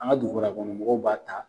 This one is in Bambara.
An ka dugukɔnɔmɔgɔ b'a ta.